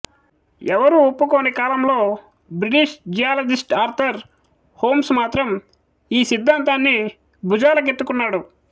ఎవ్వరూ ఒప్పుకోని కాలంలో బ్రిటిష్ జియాలజిస్ట్ ఆర్థర్ హోమ్స్ మాత్రం ఈ సిద్ధాంతాన్ని భుజాలకెత్తుకున్నాడు